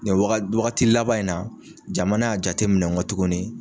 Nin waga wagati laban in na jamana y'a jate minɛn gɔ tuguni